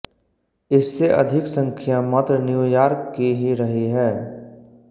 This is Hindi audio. इससे अधिक संख्या मात्र न्यू यार्क की ही रही है